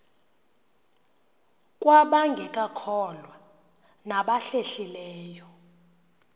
kwabangekakholwa nabahlehli leyo